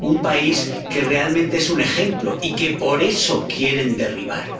un país que realmente es un ejemplo y que, por eso, quieren derribarlo.